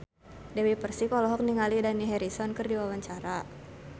Dewi Persik olohok ningali Dani Harrison keur diwawancara